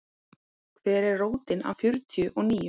Hver er rótin af fjörtíu og níu?